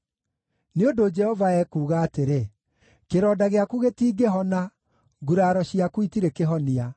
“Nĩ ũndũ Jehova ekuuga atĩrĩ: “ ‘Kĩronda gĩaku gĩtingĩhona, nguraro ciaku itirĩ kĩhonia.